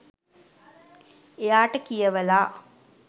එයාට කියවලා